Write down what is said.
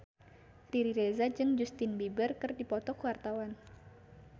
Riri Reza jeung Justin Beiber keur dipoto ku wartawan